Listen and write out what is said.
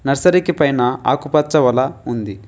నర్సరీకి పైన ఆకుపచ్చ వల ఉంది.